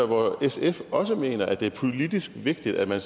hvor sf også mener det er politisk vigtigt at man